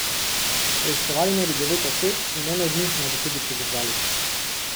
Preiskovali naj bi devet oseb in eno od njih naj bi tudi pridržali.